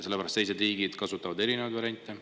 Sellepärast, et teised riigid kasutavad erinevaid variante.